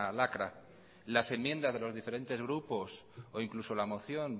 lacra las enmiendas de los diferentes grupos e incluso la moción